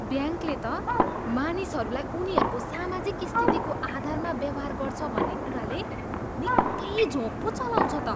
ब्याङ्कले त मानिसहरूलाई उनीहरूको सामाजिक स्थितिको आधारमा व्यवहार गर्छ भन्ने कुराले निक्कै झोँक पो चलाउँछ त।